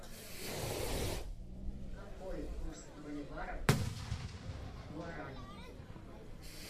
какой курс боливара к гуарани